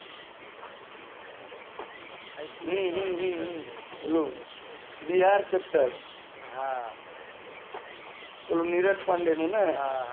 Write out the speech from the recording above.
હમ પેલું brchapter હા પેલું નીરજ પાંડે નું ને